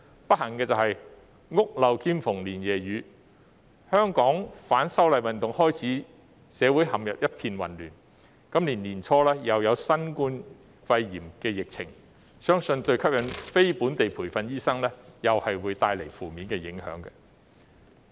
不幸的是"屋漏兼逢連夜雨"，香港自反修例運動開始，社會陷入一片混亂，今年年初又有新型冠狀病毒疫情，相信對於吸引非本地培訓醫生來港，會帶來負面影響。